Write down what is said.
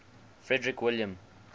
frederick william